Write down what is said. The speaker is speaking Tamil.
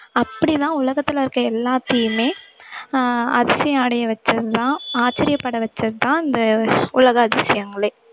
அப்படிதான் உலகத்துல இருக்க எல்லாத்தையுமே அஹ் அதிசயம் அடைய வெச்சதுதான் ஆச்சரியப்பட வெச்சதுதான் இந்த உலக அதிசயங்களே